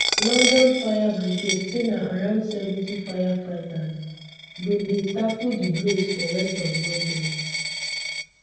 london um fire brigade say na around seventy firefighters bin dey tackle di blaze for west of london